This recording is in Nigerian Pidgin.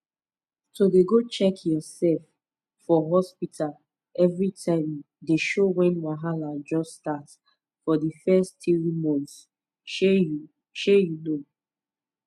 to dey go check yoursef for hospta everi time dey show wen wahala just start for di fess tiri months shey you shey you know